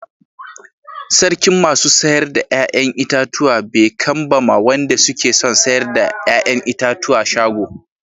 Sarkin masu sayar da yayan itatuwa be kan ba ma wande suke son sayar da yayan itatuwa shago.